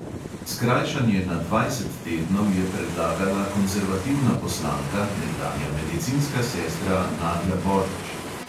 Skrajšanje na dvajset tednov je predlagala konzervativna poslanka, nekdanja medicinska sestra nadja božič.